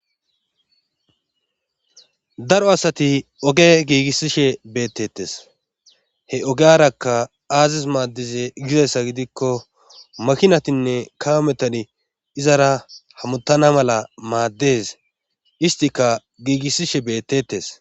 daro asati oge giigissishe beettettes he ogeyarakka aazis maaddize gizassa gidikko makinatinne kawo metani izara hamuttana mala maaddes istika giigissishe beettetes